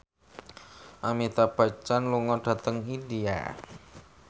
Amitabh Bachchan lunga dhateng India